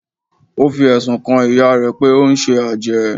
ó fi ẹ̀sùn kan ìyá rẹ̀ pé ó ń ṣe àjẹ́